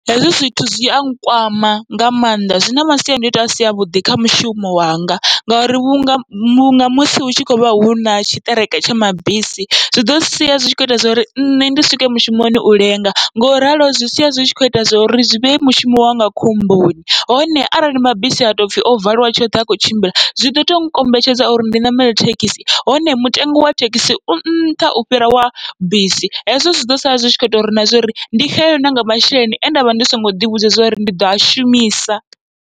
Hezwi zwithu zwia nkwama nga mannḓa, zwina masiandoitwa asi avhuḓi kha mushumo wanga ngauri vhunga munga musi hutshi khou vha huna tshiṱereke tsha mabisi zwi ḓo sia zwitshi kho ita zwori nṋe ndi swike mushumoni u lenga, ngoralo zwi sia zwi tshi kho ita zwa uri zwi vhee mushumo wanga khomboni. Hone arali mabisi ha topfhi o valiwa tshoṱhe hakho tshimbila zwiḓo to nkombetshedza uri ndi ṋamele thekhisi, hone mutengo wa thekhisi u nṱha u fhira wa bisi hezwo zwiḓo sala zwi tshi kho ita uri na zwori ndi xelelwe nanga masheleni ane ndavha ndi songo ḓivhudza uri ndi ḓo a shumisa.